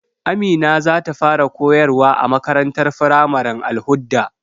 Amina zata fara koyarwa a makarantar firamaren Al-hudda.